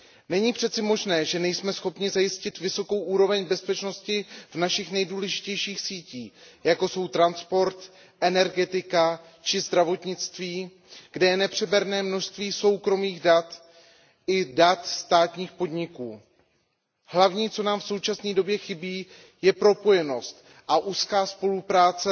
Není přece možné, že nejsme schopni zajistit vysokou úroveň bezpečnosti našich nejdůležitějších sítí, jako jsou transport, energetika či zdravotnictví, kde je nepřeberné množství soukromých dat i dat státních podniků. Hlavní, co nám v současné době chybí, je propojenost a úzká spolupráce